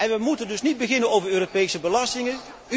eens. We moeten dus niet beginnen over Europese belastingen.